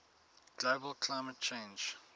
global climate change